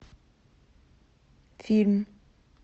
фильм